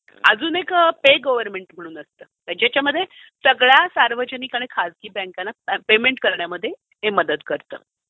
अजून एक pay government म्हणून एप आहे ज्याच्यामध्ये सगळ्या सार्वजनिक आणि खासगी बँकना पेमेंट करण्यामध्ये हे मदत करते.